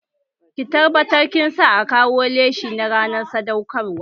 Ki tabbatar kin sa a kawo leshi na ranar sadaukar wa!